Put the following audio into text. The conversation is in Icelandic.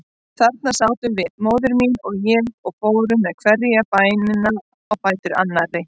Þarna sátum við, móðir mín og ég, og fórum með hverja bænina á fætur annarri.